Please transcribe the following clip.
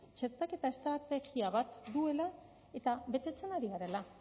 txertaketa estrategia bat duela eta betetzen ari garela